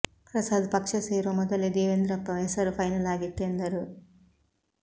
ಪ್ರಸಾದ್ ಪಕ್ಷ ಸೇರೋ ಮೊದಲೇ ದೇವೇಂದ್ರಪ್ಪ ಹೆಸರು ಫೈನಲ್ ಆಗಿತ್ತು ಎಂದರು